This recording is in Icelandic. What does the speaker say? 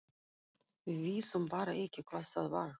Við vissum bara ekki hvað það var.